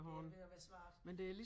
Det er ved at være svært